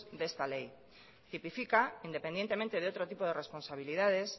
de esta ley tipifica independientemente de otro tipo de responsabilidades